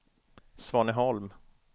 Svaneholm